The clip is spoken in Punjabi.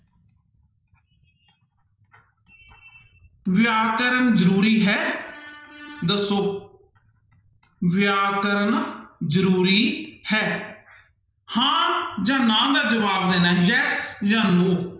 ਵਿਆਕਰਨ ਜ਼ਰੂਰੀ ਹੈ ਦੱਸੋ ਵਿਆਕਰਨ ਜ਼ਰੂਰੀ ਹੈ, ਹਾਂ ਜਾਂ ਨਾ ਦਾ ਜਵਾਬ ਦੇਣਾ ਹੈ yes ਜਾਂ no